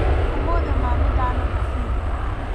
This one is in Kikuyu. ũmũthĩ ma nĩndanoga biũ.